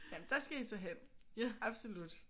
Jamen der skal I så hen. Absolut